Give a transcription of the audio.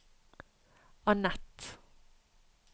Anett